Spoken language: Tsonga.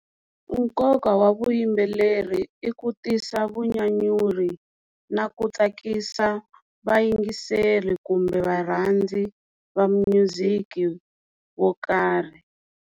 Nkoka wa vuyimbeleri i ku tisa vunyanyuri na ku tsakisa vayingiseri kumbe varhandzi va minyuziki wo karhi.